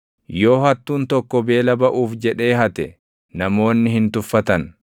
Yoo hattuun tokko beela baʼuuf jedhee hate, namoonni hin tuffatan.